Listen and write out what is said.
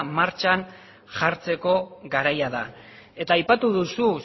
martxan jartzeko garaia da eta aipatu duzu